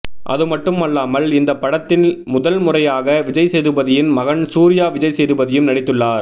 அதுமட்டுமல்லாமல் இந்த படத்தில் முதல்முறையாக விஜய் சேதுபதியின் மகன் சூர்யா விஜய்சேதுபதியும் நடித்துள்ளார்